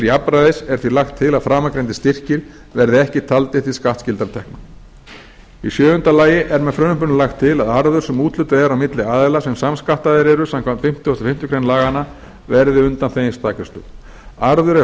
jafnræðis er því lagt til að framangreindir styrkir verði ekki taldir til skattskyldra tekna í sjöunda lagi er með frumvarpinu lagt til að arður sem úthlutað er á milli aðila sem samskattaðir eru samkvæmt fimmtugustu og fimmtu grein laganna verði undanþeginn staðgreiðslu arður